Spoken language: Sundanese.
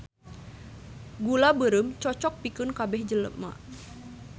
Gula beureum cocok pikeun kabeh jelema